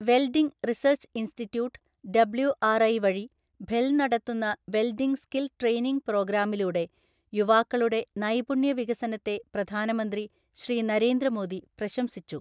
Welding research institute WRI വഴി ഭെൽ നടത്തുന്ന വെൽഡിംഗ് സ്കിൽ ട്രെയിനിംഗ് പ്രോഗ്രാമിലൂടെ യുവാക്കളുടെ നൈപുണ്യ വികസനത്തെ പ്രധാനമന്ത്രി ശ്രീ നരേന്ദ്ര മോദി പ്രശംസിച്ചു.